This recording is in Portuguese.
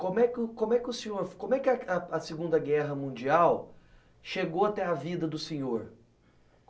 Como é que o, como é que o senhor, como é que a a Segunda Guerra Mundial chegou até a vida do senhor?